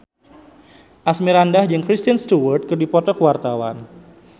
Asmirandah jeung Kristen Stewart keur dipoto ku wartawan